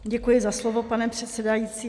Děkuji za slovo, pane předsedající.